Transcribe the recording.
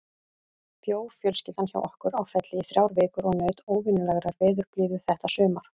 Bjó fjölskyldan hjá okkur á Felli í þrjár vikur og naut óvenjulegrar veðurblíðu þetta sumar.